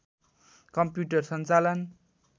computer सञ्चालन